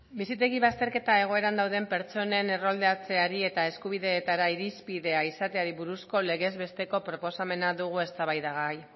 bizitegi bazterketa egoeran dauden pertsonen erroldatzeari eta eskubideetara irizpidea izateari buruzko legez besteko proposamena dugu eztabaidagai